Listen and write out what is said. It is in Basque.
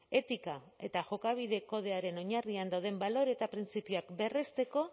etika eta jokabide kodearen oinarrian dauden balore eta printzipioak berresteko